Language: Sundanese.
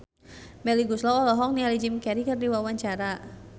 Melly Goeslaw olohok ningali Jim Carey keur diwawancara